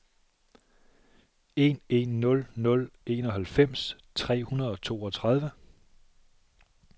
en en nul nul enoghalvfems tre hundrede og toogtredive